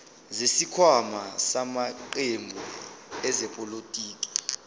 zesikhwama samaqembu ezepolitiki